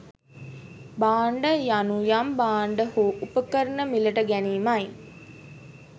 භාණ්ඩ යනු යම් භාණ්ඩ හෝ උපකරණ මිලට ගැනීමයි